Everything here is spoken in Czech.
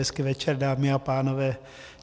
Hezký večer, dámy a pánové.